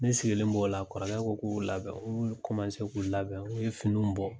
Ne sigilen b'o la kɔrɔkɛ ko ko k'u labɛn u y'u k'u labɛn u ye finiw bɔ.